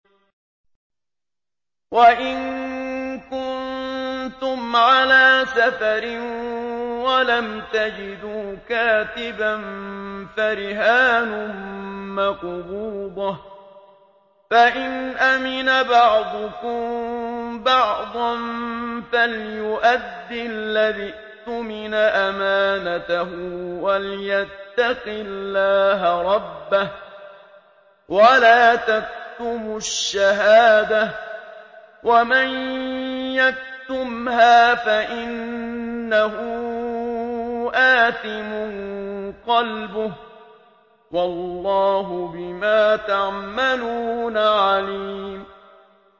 ۞ وَإِن كُنتُمْ عَلَىٰ سَفَرٍ وَلَمْ تَجِدُوا كَاتِبًا فَرِهَانٌ مَّقْبُوضَةٌ ۖ فَإِنْ أَمِنَ بَعْضُكُم بَعْضًا فَلْيُؤَدِّ الَّذِي اؤْتُمِنَ أَمَانَتَهُ وَلْيَتَّقِ اللَّهَ رَبَّهُ ۗ وَلَا تَكْتُمُوا الشَّهَادَةَ ۚ وَمَن يَكْتُمْهَا فَإِنَّهُ آثِمٌ قَلْبُهُ ۗ وَاللَّهُ بِمَا تَعْمَلُونَ عَلِيمٌ